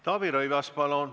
Taavi Rõivas, palun!